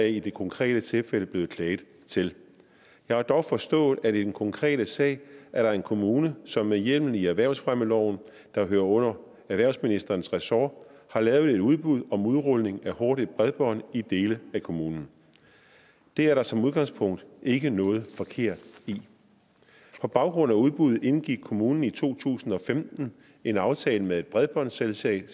i det konkrete tilfælde er blevet klaget til jeg har dog forstået at der i den konkrete sag er en kommune som med hjemmel i erhvervsfremmeloven der hører under erhvervsministerens ressort har lavet et udbud om udrulning af hurtigt bredbånd i dele af kommunen det er der som udgangspunkt ikke noget forkert i på baggrund af udbuddet indgik kommunen i to tusind og femten en aftale med et bredbåndsselskab